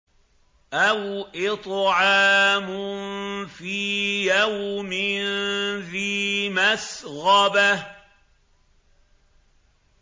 أَوْ إِطْعَامٌ فِي يَوْمٍ ذِي مَسْغَبَةٍ